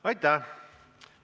Aitäh!